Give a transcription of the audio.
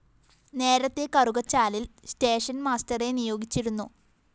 നേരത്തെ കറുകച്ചാലില്‍ station master നിയോഗിച്ചിരുന്നു